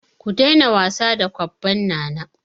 Ku daina wasa da kwabban Nana!